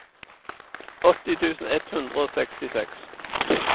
åtti tusen ett hundre og sekstiseks